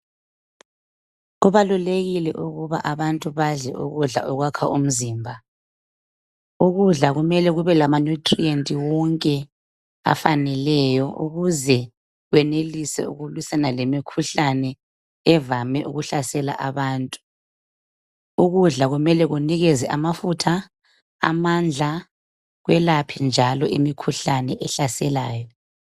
Kubalulekile ukuba abantu badle ukudla okwakha umzimba. Ukudla kumele kube lama nutrient wonke afaneleyo ukuze kwenelise ukulwisana lemikhuhlane evame ukuhlasela abantu. Ukudla kumele kunikeze amafutha, amandla , kwelaphe njalo imikhuhlane ehlaselayo.